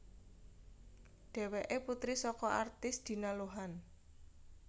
Dhéwéké putri saka artis Dina Lohan